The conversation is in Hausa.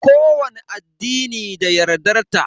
Kowani addini da yardar ta.